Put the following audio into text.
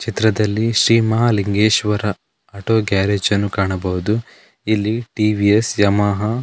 ಚಿತ್ರದಲ್ಲಿ Shri Mahalingeshwara auto garage ಅನ್ನು ಕಾಣಬಹುದು ಇಲ್ಲಿ ಟಿವಿಎಸ್ ಯಮಹ --